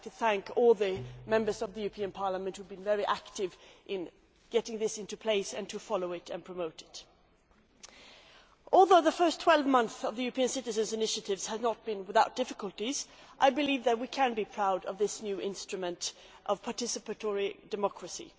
I would like to thank all the Members of the European Parliament who have been so active in getting this into place, following it up and promoting it. Although the first 12 months of the European Citizens' Initiative have not been without difficulties, I believe that we can be proud of this new instrument of participatory democracy.